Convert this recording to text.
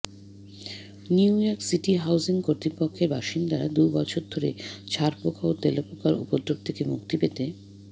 New York city housing কর্তৃপক্ষের বাসিন্দারা দুবছর ধরে ছারপোকা ও তেলাপোকার উপদ্রব থেকে মুক্তি পেতে